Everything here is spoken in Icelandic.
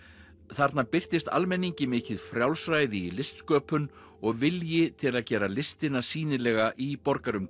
þarna birtist almenningi mikið frjálsræði í listsköpun og vilji til að gera listina sýnilega í